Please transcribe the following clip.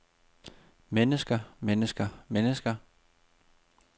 mennesker mennesker mennesker